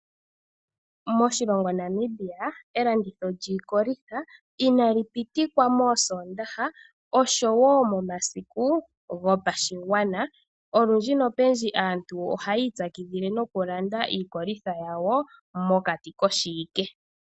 Moshilongo Namibia elanditho lyiikolitha inali pitikwa mosoondaha osho wo momasiku yopashigwana. Olundji nopendji aantu ohayi itsakidhile nokulanda iikolitha yawo mokati koshiwike.